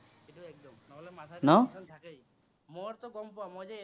মোৰতো গম পোৱা, মই যে